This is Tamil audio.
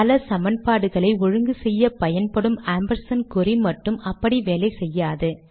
பல சமன்பாடுகளை ஒழுங்கு செய்ய பயன்படும் ஆம்பர்சாண்ட் குறி மட்டும் அப்படி வேலை செய்யாது